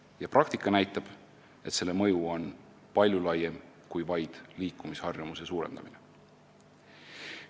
Ja praktika näitab, et selle mõju on palju laiem kui vaid liikumisharjumuse suurendamine.